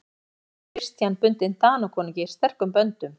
Fyrir vikið var Christian bundinn Danakonungi sterkum böndum.